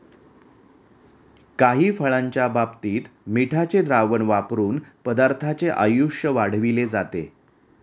काही फळांच्या बाबतीत मिठाचे द्रावण वापरून पदार्थाचे आयुष्य वाढविले जाते.